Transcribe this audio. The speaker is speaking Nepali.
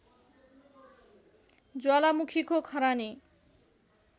ज्वालामुखीको खरानी